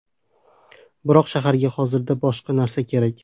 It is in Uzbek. Biroq shaharga hozirda boshqa narsa kerak.